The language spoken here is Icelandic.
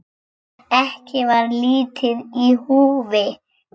Ekki var lítið í húfi.